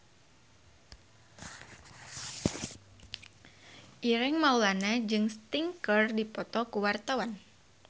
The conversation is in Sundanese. Ireng Maulana jeung Sting keur dipoto ku wartawan